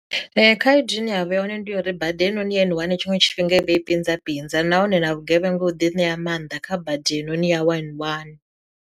Khaedu ine yavha ya hone ndi ya uri bada heinoni ya N1 tshiṅwe tshifhinga i vha i pinza pinza nahone na vhugevhenga u ḓi ṋea mannḓa kha bada heinoni ya one one.